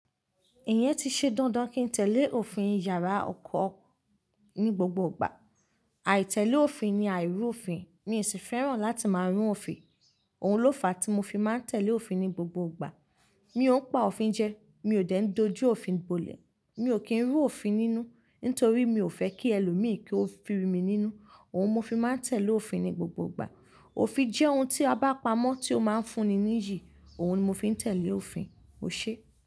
Ìyẹn ti ṣe dandan kí n tẹ̀lé òfin yàrá ọkọ̀ ní gbogbo ìgbà. Àìtẹ̀lé òfin ni àìrú òfin. Mi ò sì fẹ́ràn láti máa rún òfin. Ohun ló fa tí mo fi máa ń tẹ̀lé òfin ní gbogbo ìgbà. Mi ò ń pa òfin jẹ, mi ò dẹ ń dojú òfin bolẹ̀, mi ò kí ń rú òfin nínú, nítorí mi ò fẹ́ kí ẹlòmíì kí ó fi mí nínú. Ohun mo fi máa ń tẹ̀lé òfin ní gbogbo ìgbà. Òfin jẹ́ ohun tí a bá pamọ́ tí ó máa ń fúnni ní iyì. Ohun ni mo fi ń tẹ̀lé òfin, o ṣe?